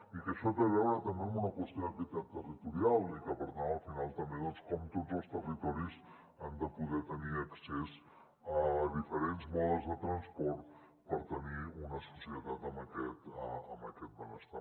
i això té a veure també amb una qüestió d’equitat territorial i per tant al final també amb com tots els territoris han de poder tenir accés a diferents modes de transport per tenir una societat amb aquest benestar